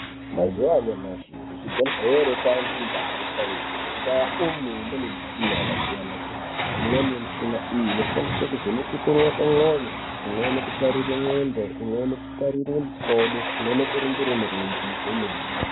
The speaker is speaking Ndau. Mazuwa anyamashi kuzvibhedhlere kwaange ndaa yesainzi, mundaa umu mune mishina yakasiyana-siyana, imweni mishina iyi inoshandiswe kuvheneke kurowa kwemwoyo, imweni kutarire ndxondo, imweni kutarire mikodo. Imweni kuringire mirenje kwemene.